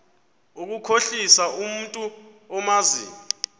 ukukhohlisa umntu omazi